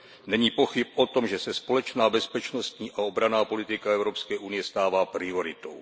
Není pochyb o tom, že se společná bezpečnostní a obranná politika Evropské unie stává prioritou.